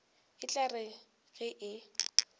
e tla re ge e